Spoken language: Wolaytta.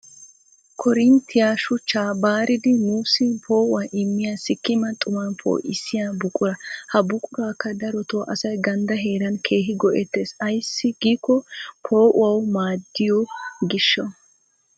Koorinttiya shuchchaa baaridi nuusi poo'uwa immiya sikkima xuman poo'issiya buqura. Ha buquraakka daroto asay ganddaa heeran keehi go'ettes. Ayssi giikko poo'uwawu maaddiyo gishshawu.